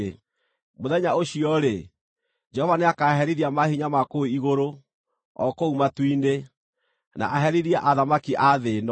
Mũthenya ũcio-rĩ, Jehova nĩakaherithia maahinya ma kũu igũrũ, o kũu matu-inĩ, na aherithie athamaki a thĩ ĩno.